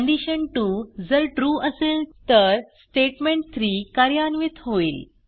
कंडिशन2 जर trueअसेल तर स्टेटमेंट3 कार्यान्वित होईल